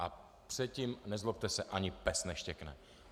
A předtím, nezlobte se, ani pes neštěkne.